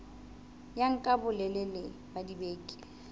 ya nka bolelele ba dibeke